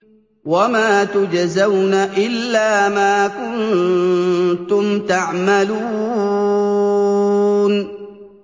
وَمَا تُجْزَوْنَ إِلَّا مَا كُنتُمْ تَعْمَلُونَ